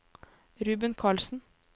Ruben Karlsen